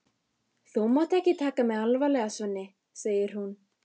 Þú mátt ekki taka mig alvarlega, Svenni, segir hún.